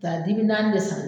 Ka taa dibi naani de san.